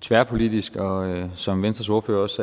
tværpolitisk og som venstres ordfører også